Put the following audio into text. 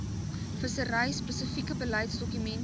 vissery spesifieke beleidsdokumente